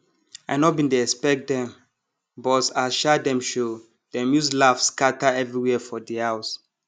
i nor bin dey expect dem but as um dem show dem use laugh scatter everywhere for di house